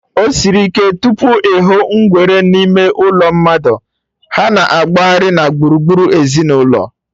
Osiri ike tupu ịhụ ngwere n'ime ụlọ mmadụ, ha na-agbaghari na gburugburu ezinụlọ